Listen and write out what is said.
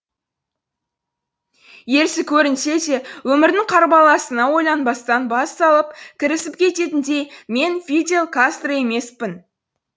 ерсі көрінсе де өмірдің қарбаласына ойланбастан бас салып кірісіп кететіндей мен фидель кастро емеспін